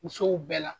Musow bɛɛ la